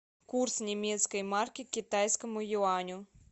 курс немецкой марки к китайскому юаню